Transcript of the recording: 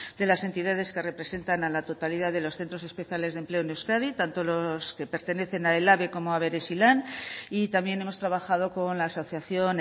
de las entidades que representan a la totalidad de los centros especiales de empleo en euskadi tanto los que pertenecen a ehlabe como a berezilan y también hemos trabajado con la asociación